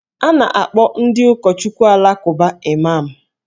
A na-akpọ ndị ụkọchukwu Alakụba Imam